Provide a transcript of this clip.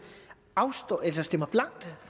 stemmer blankt